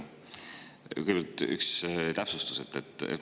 Kõigepealt üks täpsustus.